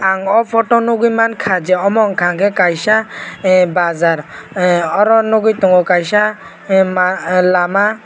ang photo o nukgwi mankha j omo hwngkhakhe kaisa bazar oro nukgwi tongo kaisa lama.